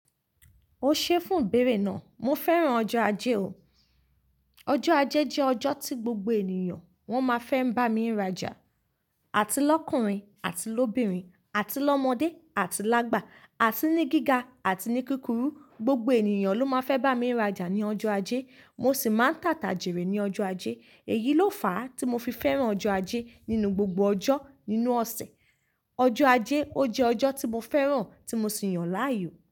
O ṣeé fun ìbéèrè náà. Mo fẹ́ràn ọjọ́ ajé o. Ọjọ́ ajé jẹ́ ọjọ́ tí gbogbo ènìyàn wọ́n máa fẹ́ ń bá mi rajà. Àti lọkùnrin àti lóbìnrin àti lọ́mọdé àti lágbà àti ní gíga àti ní kúkúrú. Gbogbo ènìyàn ló máa fẹ́ bá mi rajà ní ọjọ́ ajé. Mo sì máa ń tàtàjèrè ní ọjọ́ ajé. Èyí ló fà á tí mo fi fẹ́ràn ọjọ́ ajé nínú gbogbo ọjọ́ nínú ọ̀sẹ̀. Ọjọ́ ajé ó jẹ́ ọjọ́ tí mo fẹ́ràn tí mo sì yàn láàyò.